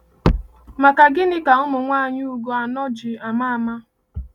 Maka gịnị ka ụmụnwaanyị Ugo anọ̀ ji ama ama?